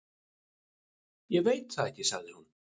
Ég veit það ekki, sagði hún.